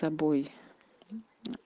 с тобой